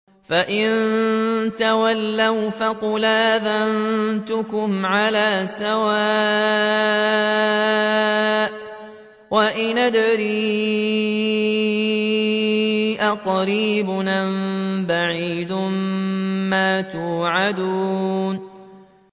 فَإِن تَوَلَّوْا فَقُلْ آذَنتُكُمْ عَلَىٰ سَوَاءٍ ۖ وَإِنْ أَدْرِي أَقَرِيبٌ أَم بَعِيدٌ مَّا تُوعَدُونَ